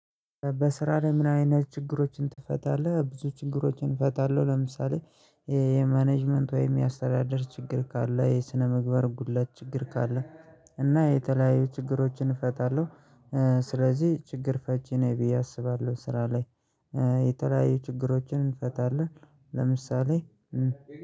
በስራ ላይ ምን አይነት ችግሮችን ትፈታለህ? ብዙ ችግሮችን እፈታለሁ ለምሳሌ የማኔጅመንት ወይም የአስተዳድር ችግር ካለ የስነምግባር ጉድለት ችግር ካለ እና የተለያዩ ችግሮችን እፈታለሁ። ስለዚህ ችግር ፈቺ ነኝ ብዬ አስባለሁ ስራ ላይ የተለያዩ ችግሮችን እፈታለሁ። ለምሳሌ